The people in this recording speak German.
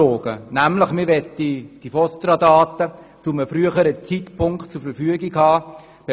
Man möchte die VOSTRA-Daten zu einem früheren Zeitpunkt zur Verfügung haben.